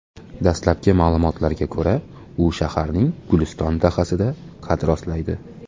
Dastlabki ma’lumotlarga ko‘ra, u shaharning Guliston dahasida qad rostlaydi.